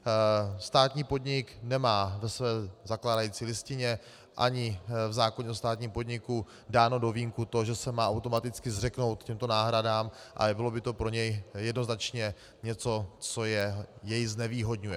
Státní podnik nemá ve své zakládající listině ani v zákoně o státním podniku dáno do vínku to, že se má automaticky zřeknout těchto náhrad, a bylo by to pro něj jednoznačně něco, co jej znevýhodňuje.